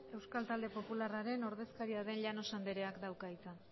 euskal talde popularraren ordezkaria den llanos andreak dauka hitza